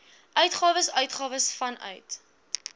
uitgawes uitgawes vanuit